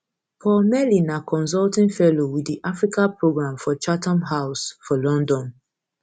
paul melly na consulting fellow wit di africa programme for chatham house um for london